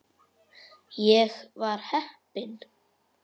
Ég var heppin.